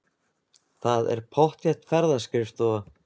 Það er pottþétt ferðaskrifstofa.